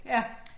Ja